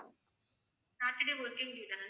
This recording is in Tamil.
saturday working day தான sir?